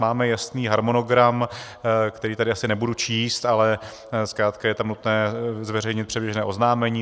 Máme jasný harmonogram, který tady asi nebudu číst, ale zkrátka je tam nutné zveřejnit předběžné oznámení.